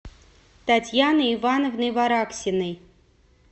татьяны ивановны вараксиной